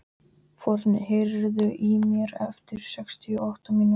Forni, heyrðu í mér eftir sextíu og átta mínútur.